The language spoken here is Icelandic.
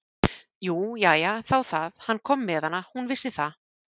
Jú, jæja, þá það, hann kom með hana, hún vissi það.